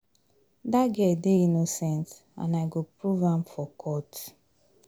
Dat girl dey innocent and I go prove am for court